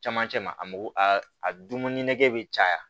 Camancɛ ma a mako a dumuni nege bɛ caya